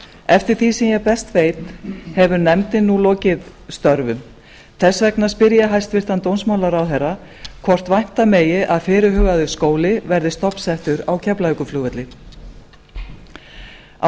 eftir því sem ég best veit hefur nefndin nú lokið störfum þess vegna spyr ég hæstvirtan dómsmálaráðherra hvort vænta megi að fyrirhugaður skóli verði stofnsettur á keflavíkurflugvelli á